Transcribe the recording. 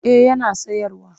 Eh yana sayarwa